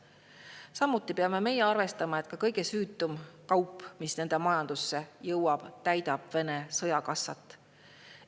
Samuti peame arvestama, et ka kõige süütum kaup, mis nende majandus jõuab, täidab Vene sõjakassat.